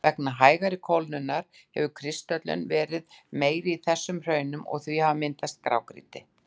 Vegna hægari kólnunar hefur kristöllun verið meiri í þessum hraunum og því hefur myndast grágrýti.